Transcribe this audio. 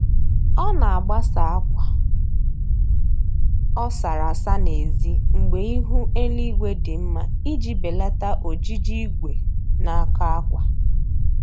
Ọ na-agbasa akwa ọ sara asa n'ezi mgbe ihu eluigwe dị mma iji belata ojiji igwe na-akọ akwa